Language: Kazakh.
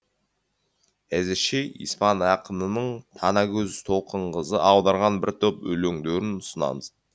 әзірше испан ақынының танагөз толқынқызы аударған бір топ өлеңдерін ұсынамыз